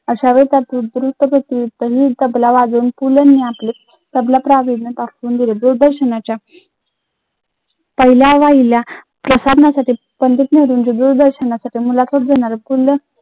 दूर दर्शनाच्या पहिल्या